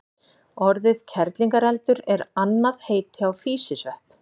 Orðið kerlingareldur er annað heiti á físisvepp.